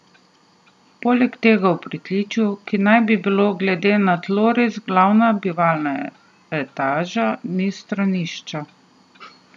Poleg tega v pritličju, ki naj bi bilo glede na tloris glavna bivalna etaža, ni stranišča.